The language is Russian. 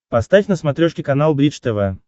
поставь на смотрешке канал бридж тв